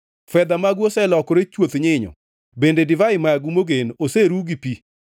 Fedha magu oselokore chuoth nyinyo bende divai magu mogen oseruw gi pi.